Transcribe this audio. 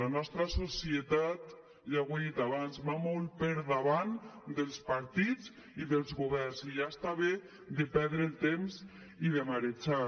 la nostra societat ja ho he dit abans va molt per davant dels partits i dels governs i ja està bé de perdre el temps i de marejar